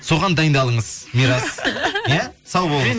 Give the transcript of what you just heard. соған дайындалыңыз мирас иә сау болыңыз